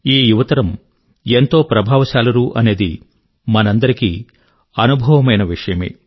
ఈ యువతరం ఎంతో ప్రభావశాలురు అనేది మనకందరికీ అనుభవమైన విషయమే